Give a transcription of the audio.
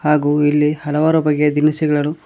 ಹಾಗು ಇಲ್ಲಿ ಹಲವಾರು ಬಗ್ಗೆ ದಿನಸಿಗಳನ್ನು--